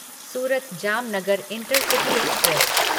Surat Jamnagar intercity express